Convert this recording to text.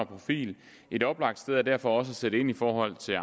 profil et oplagt sted er derfor også at sætte ind i forhold til